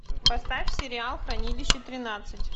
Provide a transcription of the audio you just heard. поставь сериал хранилище тринадцать